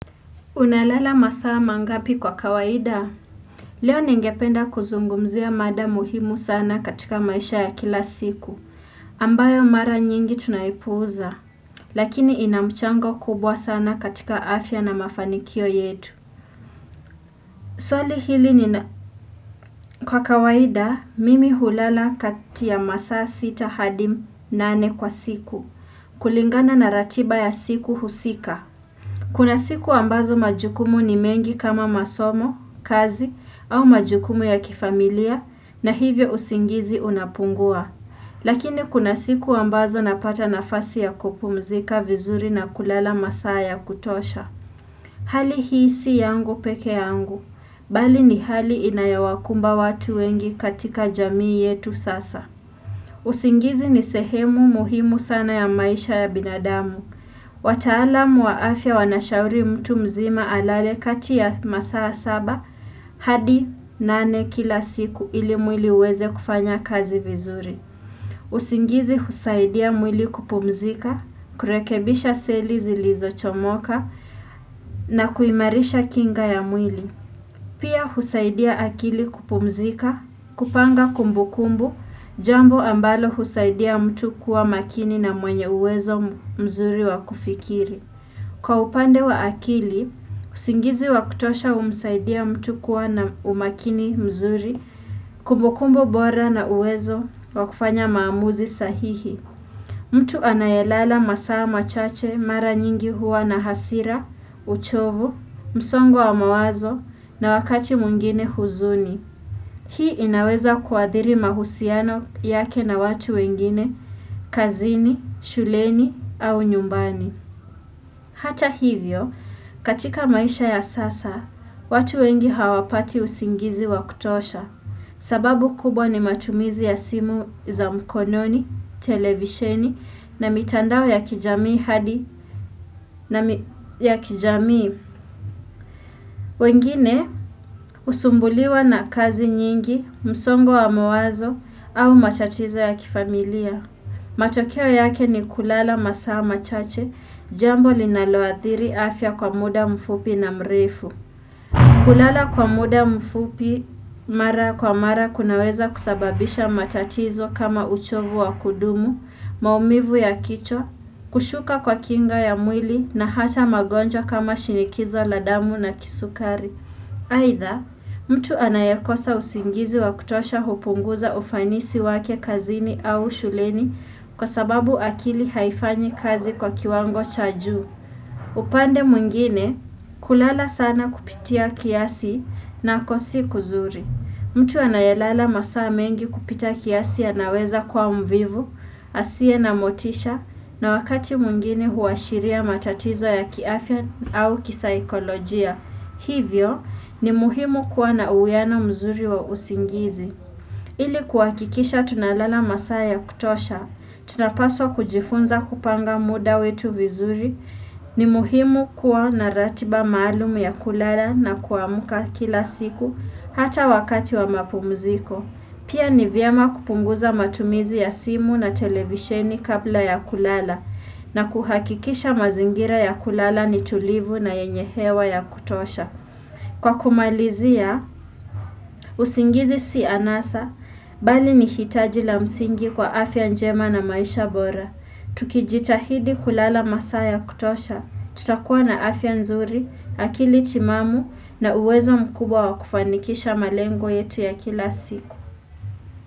Unalala masaa mangapi kwa kawaida? Leo ningependa kuzungumzia mada muhimu sana katika maisha ya kila siku. Ambayo mara nyingi tunaipuuza. Lakini inamchango kubwa sana katika afya na mafanikio yetu. Swali hili nina, kwa kawaida, mimi hulala kati ya masaa sita hadi nane kwa siku. Kulingana na ratiba ya siku husika. Kuna siku ambazo majukumu ni mengi kama masomo, kazi au majukumu ya kifamilia na hivyo usingizi unapungua. Lakini kuna siku ambazo napata nafasi ya kupumzika vizuri na kulala masaa ya kutosha. Hali hii si yangu pekeyangu, bali ni hali inayowakumba watu wengi katika jamii yetu sasa. Uzingizi ni sehemu muhimu sana ya maisha ya binadamu. Wataalamu wa afya wanashauri mtu mzima alale kati ya masaa saba hadi nane kila siku ili mwili uweze kufanya kazi vizuri. Uzingizi husaidia mwili kupumzika, kurekebisha seli zilizo chomoka na kuimarisha kinga ya mwili. Pia husaidia akili kupumzika, kupanga kumbukumbu, jambo ambalo husaidia mtu kuwa makini na mwenye uwezo mzuri wa kufikiri. Kwa upande wa akili, usingizi wakutosha umsaidia mtu kuwa na umakini mzuri, kumbukumbu bora na uwezo wakufanya maamuzi sahihi. Mtu anayelala masaa machache mara nyingi huwa na hasira, uchovu, msongo wa mawazo na wakati mwingine huzuni. Hii inaweza kuadhiri mahusiano yake na watu wengine, kazini, shuleni au nyumbani. Hata hivyo, katika maisha ya sasa, watu wengi hawapati usingizi wakutosha. Sababu kubwa ni matumizi ya simu za mkononi, televisheni na mitandao ya kijamii hadi na mi ya kijamii. Wengine, husumbuliwa na kazi nyingi, msongo wa mawazo au matatizo ya kifamilia. Matokeo yake ni kulala masaa machache, jambo linaloadhiri afya kwa muda mfupi na mrefu kulala kwa muda mfupi mara kwa mara kunaweza kusababisha matatizo kama uchovu wa kudumu, maumivu ya kichwa, kushuka kwa kinga ya mwili na hata magonjwa kama shinikizo la damu na kisukari aitha, mtu anayekosa usingizi wa kutosha hupunguza ufanisi wake kazini au shuleni kwa sababu akili haifanyi kazi kwa kiwango cha juu. Upande mwengine, kulala sana kupitia kiasi nako si kuzuri. Mtu anayalala masaa mengi kupita kiasi ya naweza kwa mvivu, asie na motisha na wakati mwingine huashiria matatizo ya kiafya au kisaikolojia. Hivyo ni muhimu kuwa na uwiano mzuri wa usingizi. Ili kuhakikisha tunalala masaa ya kutosha, tunapaswa kujifunza kupanga muda wetu vizuri, ni muhimu kuwa na ratiba maalumu ya kulala na kuamuka kila siku hata wakati wa mapumziko. Pia ni vyema kupunguza matumizi ya simu na televisheni kabla ya kulala na kuhakikisha mazingira ya kulala ni tulivu na yenye hewa ya kutosha. Kwa kumalizia, usingizi si anasa, bali ni hitaji la msingi kwa afya njema na maisha bora. Tukijitahidi kulala masaa ya kutosha, tutakuwa na afya nzuri, akili timamu na uwezo mkubwa wa kufanikisha malengo yetu ya kila siku.